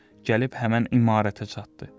Gəlib həmin imarətə çatdı.